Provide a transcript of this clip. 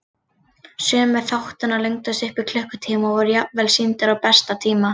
Sumir þáttanna lengdust upp í klukkutíma og voru jafnvel sýndir á besta tíma.